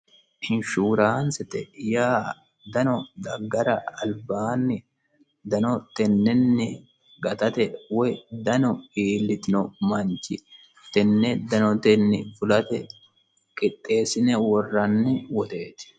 inshuuraansite yaa dano daggara albaanni dano tennenni gatate woy dano iillitino manchi tenne danotenni fulate qixxeessine worranni woxeeti